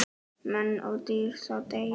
Menn og dýr þá deyja.